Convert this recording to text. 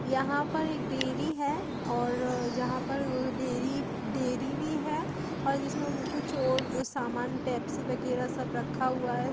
यहाॅं पर एक डेयरी है और यहाॅं पर डेयरी डेयरी भी है और जिसमे कुछ और सामान पेप्सी वगेरा सब रखा हुआ है।